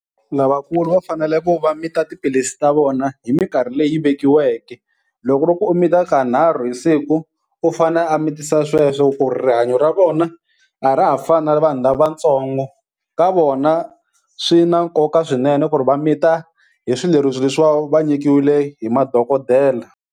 Lavakulu va fanele ku va mita tiphilisi ta vona hi minkarhi leyi vekiweke. Loko ku ri ku u mita kanharhu hi siku u fane a mitisa sweswo ku rihanyo ra vona a ra ha fani na vanhu lavatsongo. Ka vona swi na nkoka swinene ku ri va mita hi swileriso leswi va va nyikiwile hi madokodela.